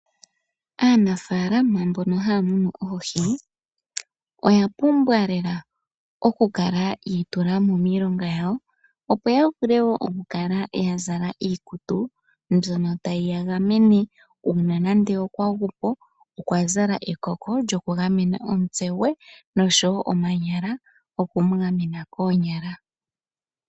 Aanafaalama mbono haya munu oohi oya pumbwa lela okukala yi itula mo miilonga yawo opo ya vule wo okukala yazala iikutu mbyono tayi yagamene uuna nenge okwa gupo okwa zala ekoko lyokugamena omutse gwe noshowo omanyala goku mugamena koonyala.